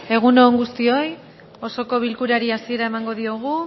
egun on guztioi osoko bilkurari hasiera emango diogu